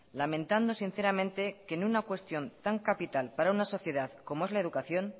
lamentando sinceramente que en una cuestión tan capital para una sociedad como es la educación